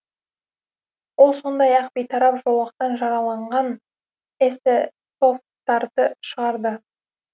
ол сондай ақ бейтарап жолақтан жараланған эсэсовтарды шығарды